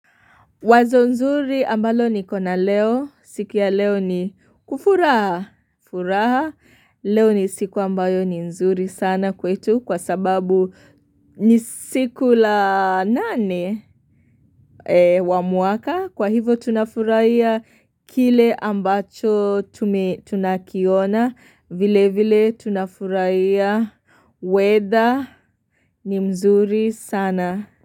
Wazo nzuri ambalo niko na leo, siku ya leo ni kufuraha, furaha, leo ni siku ambayo ni nzuri sana kwetu kwa sababu ni siku la nane wa mwaka, kwa hivo tunafurahia kile ambacho tunakiona, vile vile tunafurahia, weather ni mzuri sana.